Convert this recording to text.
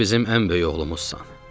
Sən bizim ən böyük oğlumuzsan.